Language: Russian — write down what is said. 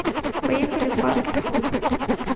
поехали фаст фуд